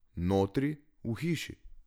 Notri, v hiši.